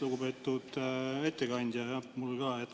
Lugupeetud ettekandja!